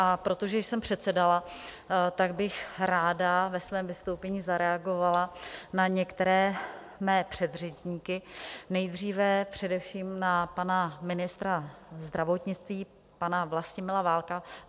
A protože jsem předsedala, tak bych ráda ve svém vystoupení zareagovala na některé své předřečníky, nejdříve především na pana ministra zdravotnictví, pana Vlastimila Válka.